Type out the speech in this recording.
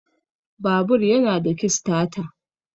Babur yana da kistata